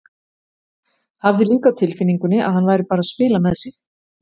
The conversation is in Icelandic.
Hafði líka á tilfinningunni að hann væri bara að spila með sig.